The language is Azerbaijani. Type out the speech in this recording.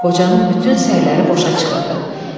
Qocanın bütün səyləri boşa çıxırdı.